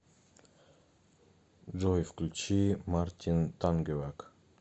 джой включи мартин тангеваг